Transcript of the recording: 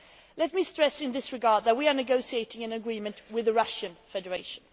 Let me stress in this regard that we are negotiating an agreement with the Russian Federation.